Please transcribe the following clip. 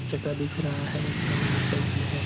चक्का दिख रहा है पुराना मोटर साइकल है।